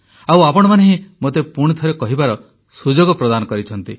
ଆଉ ଆପଣମାନେ ହିଁ ମୋତେ ପୁଣି ଥରେ କହିବାର ସୁଯୋଗ ପ୍ରଦାନ କରିଛନ୍ତି